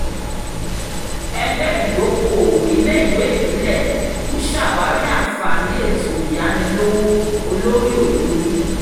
ẹgbẹ́ ìdókoòwò iléèwé ìbílẹ̀ ń ṣàwárí àǹfààní ètò ìyánilówó olórí-ò-jorí